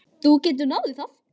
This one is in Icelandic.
Þú getur náð í það.